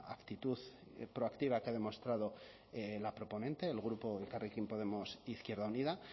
actitud proactiva que ha demostrado la proponente el grupo elkarrekin podemos izquierda unida